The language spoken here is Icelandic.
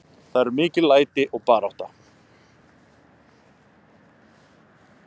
Það eru mikil læti og barátta.